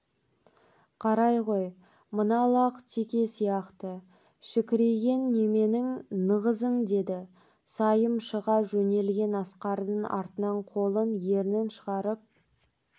қарай ғой мына лақ теке сияқты шікірейген неменің нығызын деді сайым шыға жөнелген асқардың артынан қолын ернін шығарып